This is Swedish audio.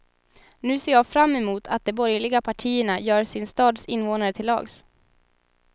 Nu ser jag fram emot att de borgerliga partierna gör sin stads invånare till lags.